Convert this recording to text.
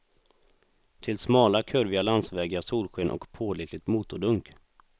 Till smala, kurviga landsvägar, solsken och pålitligt motordunk.